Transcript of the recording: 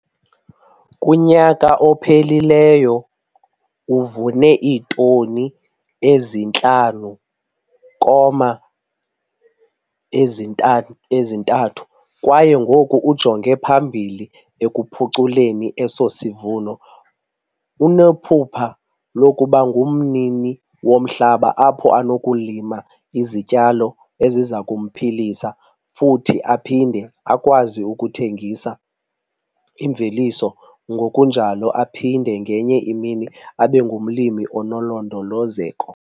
Kunyaka ophelileyo uvune iitoni ezi-5,3 kwaye ngoku ujonge phambili ekuphuculeni eso sivuno. Unephupha lokuba ngumnini womhlaba apho anokulima izityalo eziza kumphilisa futhi aphinde akwazi ukuthengisa imveliso ngokunjalo aphinde ngenye imini abe ngumlimi onolondolozeko.